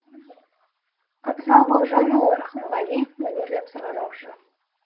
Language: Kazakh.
абзал бауыржанұлы рақымғалиев мәнерлеп сырғанаушы